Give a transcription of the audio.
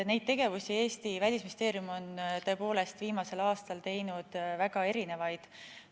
Eesti Välisministeeriumi tegevused on tõepoolest viimasel aastal olnud väga erinevad.